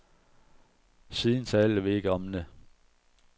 Siden talte vi ikke om det.